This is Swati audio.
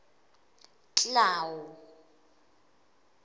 clau